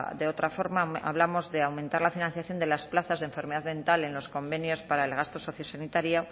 de otra forma hablamos de aumentar la financiación de las plazas de enfermedad mental en los convenios para el gasto sociosanitario